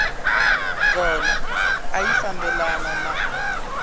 kona a ya fambelani na